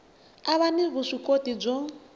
a va ni vuswikoti byo